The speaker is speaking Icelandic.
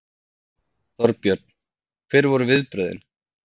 Þorbjörn: Hver voru viðbrögðin?